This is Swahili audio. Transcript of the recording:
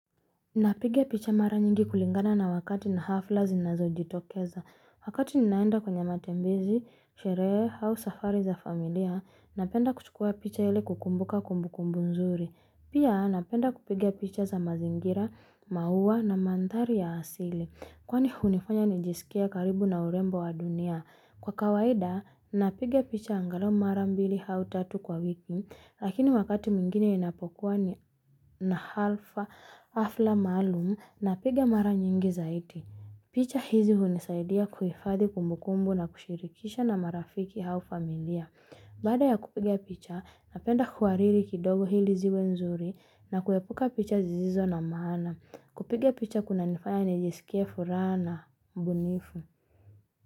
Napiga picha mara nyingi kulingana na wakati na hafla zinazo jitokeza. Wakati ninaenda kwenye matembezi, sherehe, au safari za familia, napenda kuchukua picha ili kukumbuka kumbukumbu nzuri. Pia napenda kupiga picha za mazingira, maua na mandhari ya asili. Kwani hunifanya nijisikie karibu na urembo wa dunia. Kwa kawaida, napiga picha angalau mara mbili au tatu kwa wiki, lakini wakati mwingine ninapokua ni na halfa hafla maalumu, napiga mara nyingi zaidi. Picha hizi hunisaidia kuhifadhi kumbukumbu na kushirikisha na marafiki au familia. Bada ya kupiga picha, napenda kuhariri kidogo ili ziwe nzuri na kuepuka picha zisizo na maana. Kupiga picha kunanifaya nijisikie furaha na mbunifu.